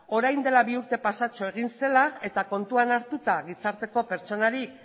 orain dela bi urte pasatxo egin zela eta kontuan hartuta gizarteko pertsonarik